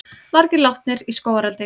Margir látnir í skógareldi